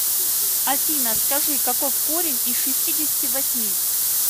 афина скажи каков корень из шестидесяти восьми